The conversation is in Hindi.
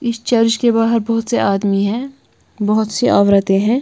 इस चर्च के बाहर बहोत से आदमी हैं बहोत सी औरतें हैं।